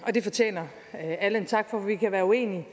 og det fortjener alle en tak for vi kan være uenige